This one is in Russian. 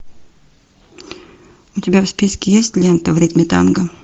у тебя в списке есть лента в ритме танго